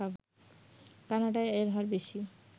কানাডায় এর হার বেশি